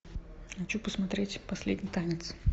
хочу посмотреть последний танец